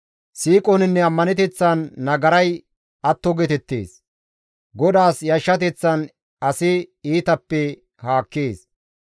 Siiqoninne ammaneteththan nagaray atto geetettees; GODAAS yashshateththan asi iitappe haakkees.